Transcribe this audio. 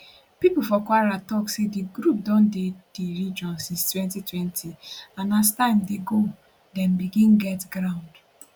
pipo for kwara tok say di group don dey di region since 2020 and as time dey go dem begin get ground